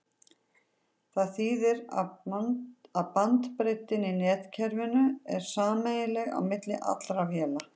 Það þýðir að bandbreiddin í netkerfinu er sameiginleg á milli allra véla.